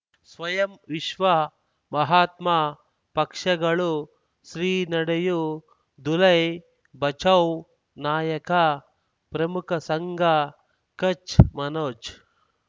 ಸ್ವಯಂ ವಿಶ್ವ ಮಹಾತ್ಮ ಪಕ್ಷಗಳು ಶ್ರೀ ನಡೆಯೂ ದುಲೈ ಬಚೌ ನಾಯಕ ಪ್ರಮುಖ ಸಂಘ ಕಚ್ ಮನೋಜ್